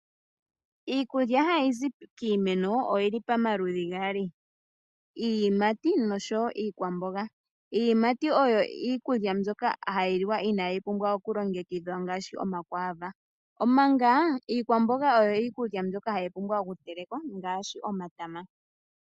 Iikulya hayizi kiimeno oyili pamaludhi gaali. Iiyimati osho wo iikwamboga. Iiyimati oyo iikulya mbyoka hayi liwa inaayi pumbwa okulongekidhwa ngaashi omakwaava, omanga iikwamboga oyo iikulya mbyoka hayi pumbwa okutelekwa ngaashi omatama.